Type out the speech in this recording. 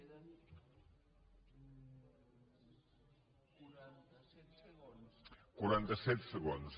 quaranta set segons